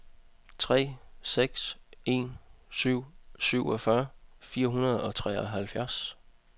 tre seks en syv syvogfyrre fire hundrede og treoghalvfjerds